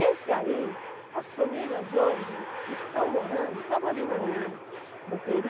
Esse aí, as famílias hoje estão morando, sabe ali no no Peri?